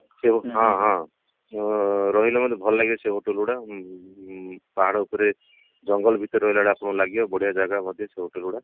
ସିଏ ହଁ ହଁ ଉଁ ରହିଲେ ମଧ୍ୟ ଭଲ ଲାଗେ ସେ ହୋଟେଲ ଗୁଡା ଉଁ ପାହାଡ ଉପରେ ଜଙ୍ଗଲ ଭିତରେ ରହିଲା ଭଳିଆ ଆପଣଙ୍କୁ ଲାଗିବ ବଢିଆ ଜାଗା ମଧ୍ୟ ସେ hotel ଗୁଡା